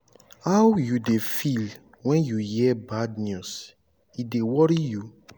how you dey feel when you hear bad news e dey worry you?